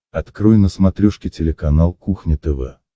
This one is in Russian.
открой на смотрешке телеканал кухня тв